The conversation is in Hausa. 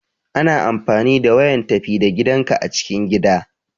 Ana amfani da wayan tafi da gidanka a cikin gida.